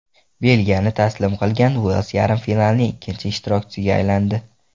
Belgiyani taslim qilgan Uels yarim finalning ikkinchi ishtirokchisiga aylandi.